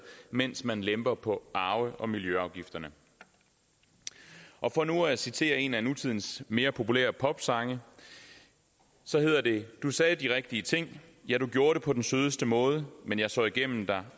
mens man lemper på arve og miljøafgifterne for nu at citere en af nutidens mere populære popsange så hedder det du sagde de rigtige ting ja og du gjorde det på den sødeste måde men jeg så igennem dig